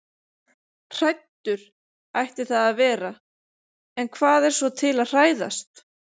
Hræddur ætti það að vera- en hvað er svo til að hræðast?